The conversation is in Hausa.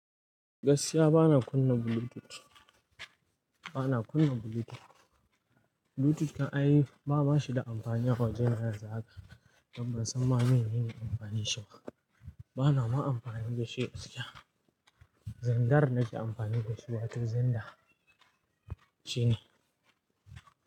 Gaskiya bana kunna Bluetooth, bana kunna Bluetooth. Bluetooth din ai, ba ma shi da amfani a wajena yanzu haka. Don Ban san ma me nene amfani shi ba. Bana ma amfani da shi gaskiya. Zandar nake amfani da shi, watan xenda shine.